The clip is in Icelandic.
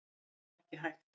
Það var ekki hægt.